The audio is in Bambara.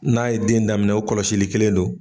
N'a ye den daminɛ o kɔlɔsili kelen don